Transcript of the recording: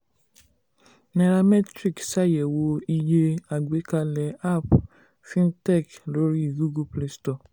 nairametrics ṣàyẹ̀wò iye àgbékalẹ̀ app fintech lórí google play store.